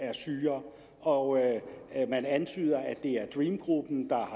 er sygere og man antyder at det er dream gruppen der